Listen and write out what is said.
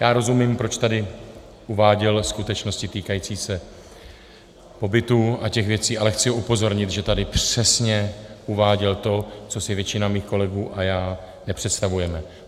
Já rozumím, proč tady uváděl skutečnosti týkající se pobytu a těch věcí, ale chci upozornit, že tady přesně uváděl to, co si většina mých kolegů a já nepředstavujeme.